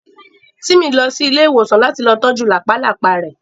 Tímì fẹ́ lọ sí ilé ìwòsàn láti lọ ojú làpálàpá rẹ